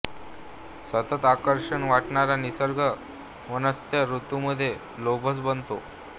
सतत आकर्षक वाटणारा निसर्ग वसन्त ऋतूमध्ये लोभस बनतो